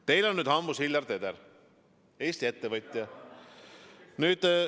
Teil on nüüd hambus Hillar Teder, Eesti ettevõtja.